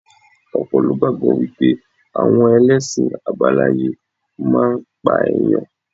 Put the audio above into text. Ọ̀pọ̀ ló gbàgbọ́ wípé àwọn ẹlẹ́sìn àbáláyé máa ń pa ẹ̀yàn.